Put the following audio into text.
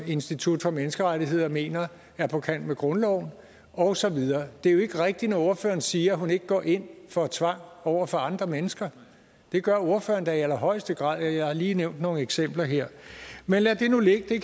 institut for menneskerettigheder mener er på kant med grundloven og så videre det er jo ikke rigtigt når ordføreren siger at hun ikke går ind for tvang over for andre mennesker det gør ordføreren da i allerhøjeste grad jeg har lige nævnt nogle eksempler her men lad det nu ligge det